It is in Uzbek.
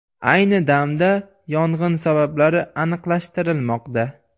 Ayni damda yong‘in sabablari aniqlashtirilmoqda.